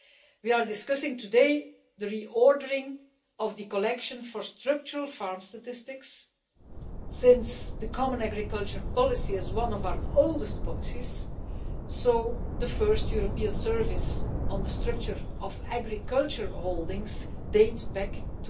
We are discussing today the re ordering of the collection of data for structural farm statistics, since the common agricultural policy is one of our oldest policies and the first European service on the structure of agricultural holdings dates back to